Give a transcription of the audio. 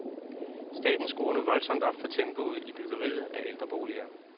Staten skruer nu voldsomt op for tempoet i byggeriet af ældreboliger.